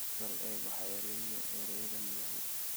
bal eeg waxa eraygani yahay